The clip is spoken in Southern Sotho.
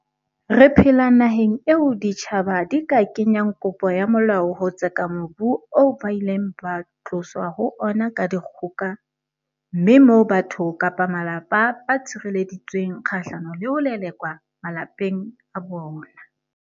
Re phela naheng eo ditjhaba di ka kenyang kopo ya molao ho tseka mobu oo ba ileng ba tloswa ho ona ka dikgoka, mme moo batho kapa malapa ba tshirele-ditsweng kgahlano le ho lelekwa malapeng a bona.